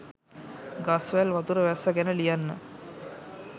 ගස් වැල් වතුර වැස්ස ගැන ලියන්න